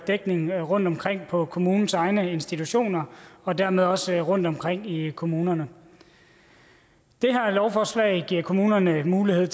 dækning rundtomkring på kommunens egne institutioner og dermed også rundtomkring i kommunerne det her lovforslag giver kommunerne mulighed